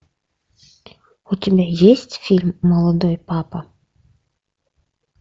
у тебя есть фильм молодой папа